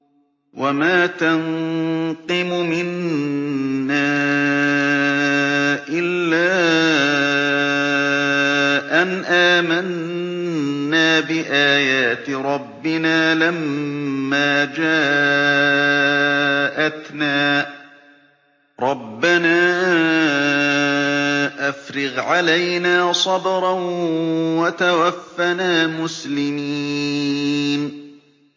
وَمَا تَنقِمُ مِنَّا إِلَّا أَنْ آمَنَّا بِآيَاتِ رَبِّنَا لَمَّا جَاءَتْنَا ۚ رَبَّنَا أَفْرِغْ عَلَيْنَا صَبْرًا وَتَوَفَّنَا مُسْلِمِينَ